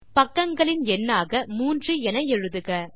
பக்கங்களின் எண்ணாக 3 என எழுதுக